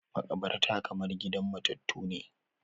Maƙabarta kamar gidan matattu ne